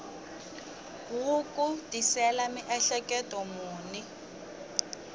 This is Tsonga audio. wu ku tisela miehleketo muni